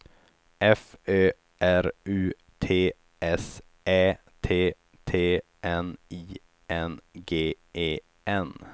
F Ö R U T S Ä T T N I N G E N